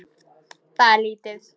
Það er lítið